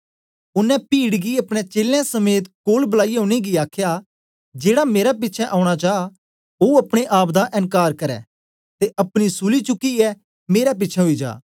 ओनें पीड गी अपने चेलें समेत कोल बलाईयै उनेंगी आखया जेड़ा मेरे पिछें औना चा ओ अपने आप दा एनकार करै ते अपनी सूली चुकियै मेरे पिछें आई जा